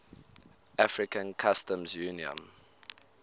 african customs union